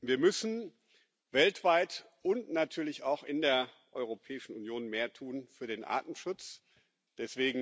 Wir müssen weltweit und natürlich auch in der Europäischen Union, mehr für den Artenschutz tun.